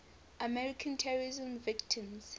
american terrorism victims